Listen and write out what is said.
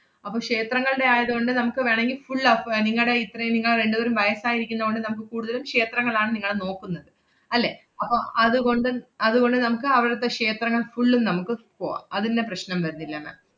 അപ്പം ക്ഷേത്രങ്ങളുടെ ആയതുകൊണ്ട് നമ്മക്ക് വേണോങ്കി full അഫ്~ നിങ്ങടെ ഇത്രയും നിങ്ങള് രണ്ടുപേരും വയസ്സായിരിക്കുന്ന കൊണ്ട് നമ്മുക്ക് കൂടുതലും ക്ഷേത്രങ്ങളാണ് നിങ്ങള് നോക്കുന്നത്. അല്ലേ? അപ്പം അതുകൊണ്ട് അതുകൊണ്ട് നമക്ക് അവടത്തെ ക്ഷേത്രങ്ങൾ full ഉം നമ്മക്ക് പോവാം. അതിന്‍റെ പ്രശ്‌നം വരുന്നില്ല ma'am